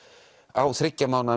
á þriggja mánaða